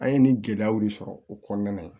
An ye nin gɛlɛyaw de sɔrɔ o kɔnɔna na yen